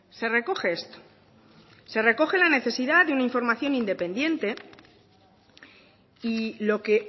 se recoge esto se recoge la necesidad de una información independiente y lo que